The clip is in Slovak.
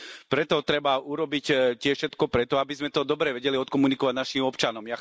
Preto treba urobiť tiež všetko preto, aby sme to dobre vedeli odkomunikovať našim občanom.